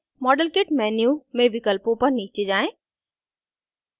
model kit menu में विकल्पों पर नीचे जाएँ